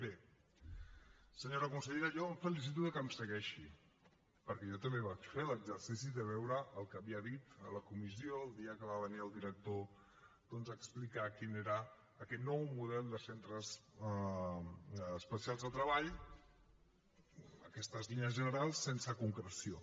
bé senyora consellera jo em felicito de que em segueixi perquè jo també vaig fer l’exercici de veure el que havia dit a la comissió el dia que va venir el director doncs a explicar quin era aquest nou model de centres especials de treball aquestes línies generals sense concreció